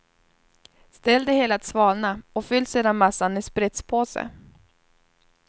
Ställ det hela att svalna och fyll sedan massan i spritspåse.